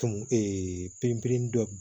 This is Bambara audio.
Tɔn perepereli dɔ bɛ